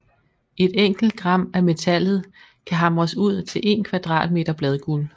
Et enkelt gram af metallet kan hamres ud til en kvadratmeter bladguld